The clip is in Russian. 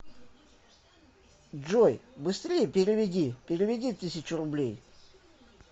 джой быстрее переведи переведи тысячу рублей